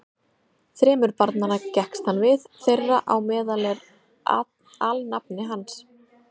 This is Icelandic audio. Þremur barnanna gekkst hann við, þeirra á meðal er alnafni hans.